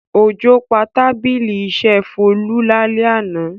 Òjò pa tábìlì iṣẹ́ Folú lálẹ́ àná.